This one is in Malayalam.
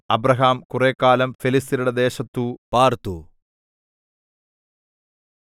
അബ്രാഹാം കുറെക്കാലം ഫെലിസ്ത്യരുടെ ദേശത്തു പാർത്തു